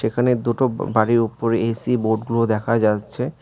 এখানে দুটো বাড়ির ওপরে এ_সি বোর্ডগুলো দেখা যাচ্ছে।